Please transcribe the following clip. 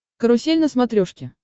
карусель на смотрешке